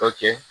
Ka kɛ